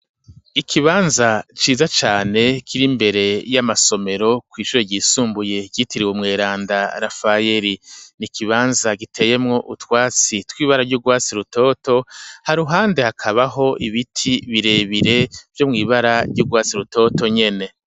Ikibanza ciza cane kiri imbere y'amasomero, kw'ishure ryisumbuye ryitiriwe umweranda Rafayeri; ni ikibanza giteyemwo utwatsi tw'ibara ry'urwatsi rutoto, haruhande hakabaho ibiti birebire, vyo mw'ibara ry'urwatsi rutoto nyene.